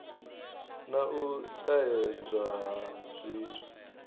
na u ṱahedzwa ha zwithu